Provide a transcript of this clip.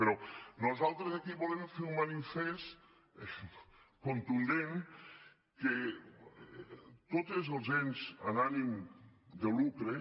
però nosaltres aquí volem fer un manifest contundent que tots els ens amb ànim de lucre